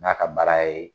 N'a ka baara ye